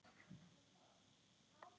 Elsku amma langa okkar.